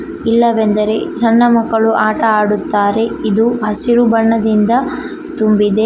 ಇಲ್ಲವೆಂದರೆ ಸಣ್ಣ ಮಕ್ಕಳು ಆಟ ಆಡುತ್ತಾರೆ ಇದು ಹಸಿರು ಬಣ್ಣದಿಂದ ತುಂಬಿದೆ.